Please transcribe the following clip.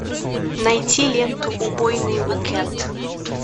найти ленту убойный уикэнд